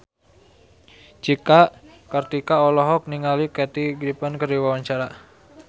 Cika Kartika olohok ningali Kathy Griffin keur diwawancara